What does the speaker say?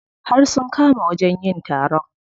Har sun kama wajen yin taron.